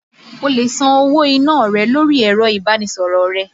O lè san owó iná rẹ lórí ẹ̀rọ ìbánisọ̀rọ̀ rẹ.